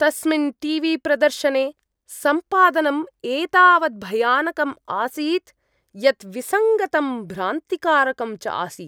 तस्मिन् टीवीप्रदर्शने सम्पादनं एतावत् भयानकम् आसीत् यत् विसङ्गतं भ्रान्तिकारकं च आसीत् ।